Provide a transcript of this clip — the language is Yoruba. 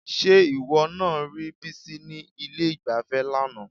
Ṣé ìwọ náà rí Bísí ní ilé-ìgbafẹ́ lánàá?